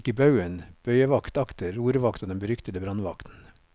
Utkikk i baugen, bøyevakt akter, rorvakt og den beryktede brannvakten.